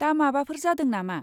दा माबाफोर जादों नामा?